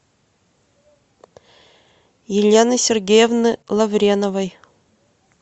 елены сергеевны лавреновой